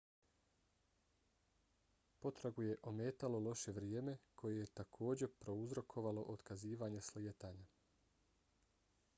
potragu je ometalo loše vrijeme koje je takođe prouzrokovalo otkazivanje slijetanja